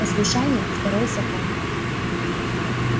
послушание второй закон